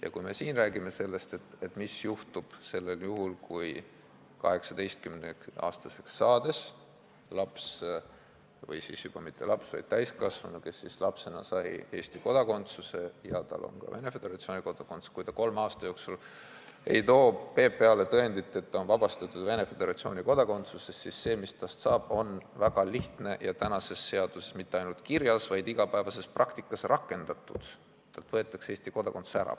Ja kui me räägime sellest, mis juhtub juhul, kui 18-aastaseks saades laps või mitte enam laps, vaid täiskasvanu, kes lapsena sai Eesti kodakondsuse ja kellel on ka Venemaa Föderatsiooni kodakondsus, ei too kolme aasta jooksul PPA-le tõendit selle kohta, et ta on Venemaa Föderatsiooni kodakondsusest vabastatud, siis see, mis temast saab, on väga lihtne ja tänases seaduses mitte ainult kirjas, vaid ka igapäevases praktikas rakendatud: temalt võetakse Eesti kodakondsus ära.